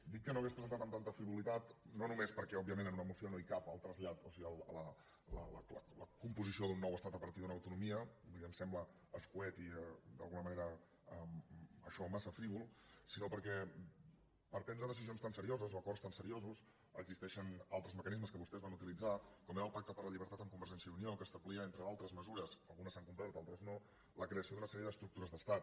dic que no ho hauria presentat amb tanta frivolitat no només perquè òbviament en una moció no hi cap el trasllat o sigui la composició d’un nou estat a partir d’una autonomia vull dir em sembla escarit i d’alguna manera massa frívol sinó perquè per prendre decisions tan serioses o acords tan seriosos existeixen altres mecanismes que vostès van utilitzar com era el pacte per la llibertat amb convergència i unió que establia entre altres mesures algunes s’han complert altres no la creació d’una sèrie estructures d’estat